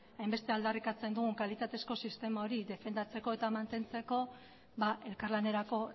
defendatzeko hainbeste aldarrikatzen dugun kalitatezko sistema hori defendatzeko eta mantentzeko elkarlanerako